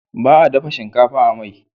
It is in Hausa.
Baa dafa shinkafa a mai